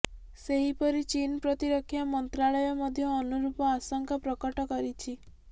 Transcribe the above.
ସେହିପରି ଚୀନ୍ ପ୍ରତିରକ୍ଷା ମନ୍ତ୍ରାଳୟ ମଧ୍ୟ ଅନୁରୂପ ଆଶଙ୍କା ପ୍ରକଟ କରିଛି